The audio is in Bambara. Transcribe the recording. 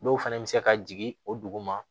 Dɔw fana bɛ se ka jigin o dugu ma